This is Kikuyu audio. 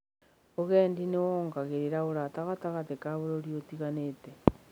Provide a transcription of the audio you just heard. Ũgendi nĩ wongereraga ũrata gatagatĩ ka bũrũri itiganĩte.